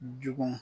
Jugu